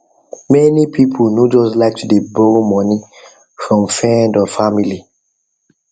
many people no just like to dey borrow money from friend or family